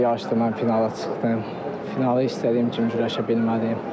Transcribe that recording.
Yəni bu yarışda mən finala çıxdım, finalı istədiyim kimi güləşə bilmədim.